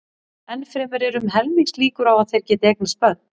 Enn fremur eru um helmingslíkur á að þeir geti eignast börn.